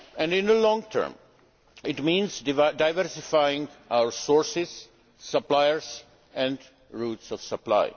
In the long term, it means diversifying our sources, suppliers and routes of